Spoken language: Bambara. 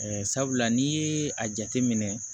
sabula n'i ye a jateminɛ